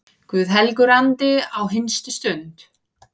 Guð helgur andi, á hinstu stund